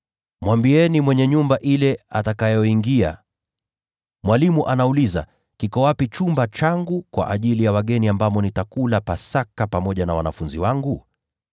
Mwambieni mwenye nyumba ile atakayoingia, ‘Mwalimu anauliza: Kiko wapi chumba changu cha wageni, ambamo mimi na wanafunzi wangu tutakula Pasaka?’